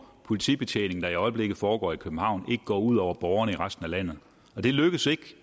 politibetjening der i øjeblikket foregår i københavn ikke går ud over borgerne i resten af landet det lykkes ikke